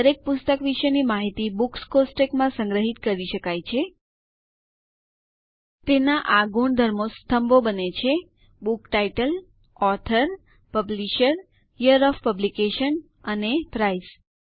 દરેક પુસ્તક વિશેની માહિતી બુક્સ કોષ્ટકમાં સંગ્રહિત કરી શકાય છે તેના આ ગુણધર્મો સ્તંભો બને છે book title author publisher year of publication and price